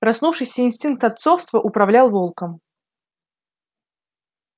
проснувшийся инстинкт отцовства управлял волком